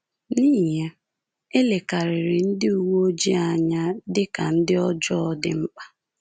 N’ihi ya, e lekarịrị ndị uwe ojii anya dị ka ndị ọjọọ dị mkpa.